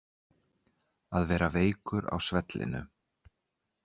Að vera veikur á svellinu